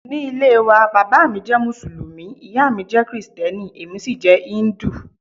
Ní ilé waa, bàbá mi jẹ́ Mùsùlùmí, ìyá mi jẹ́ Kristẹni, èmi sì jẹ́ íńdù.